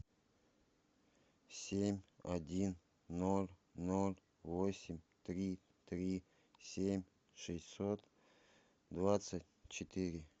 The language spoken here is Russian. семь один ноль ноль восемь три три семь шестьсот двадцать четыре